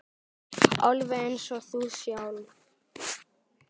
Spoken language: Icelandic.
Alveg eins og þú sjálf.